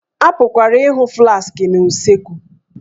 A pụkwara ịhụ flaskị na usekwu